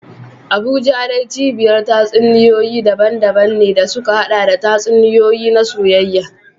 Abuja dai cibiyar tatsuniyoyi daban-daban ne da suka haɗa da tatsuniyoyi na soyayya.